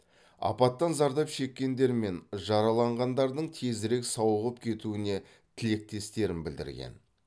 апаттан зардап шеккендер мен жараланғандардың тезірек сауығып кетуіне тілектестіктерін білдірген